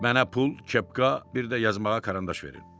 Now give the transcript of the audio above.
Mənə pul, kepka, bir də yazmağa karandaş verin.